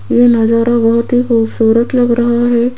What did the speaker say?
ये नजारा बहोत ही खूबसूरत लग रहा है।